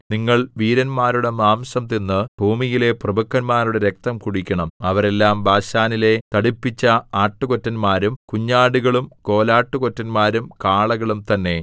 നിങ്ങൾ വീരന്മാരുടെ മാംസം തിന്ന് ഭൂമിയിലെ പ്രഭുക്കന്മാരുടെ രക്തം കുടിക്കണം അവരെല്ലാം ബാശാനിലെ തടിപ്പിച്ച ആട്ടുകൊറ്റന്മാരും കുഞ്ഞാടുകളും കോലാട്ടുകൊറ്റന്മാരും കാളകളും തന്നെ